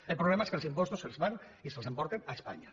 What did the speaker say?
el problema és que els impostos es fan i se’ls emporten a espanya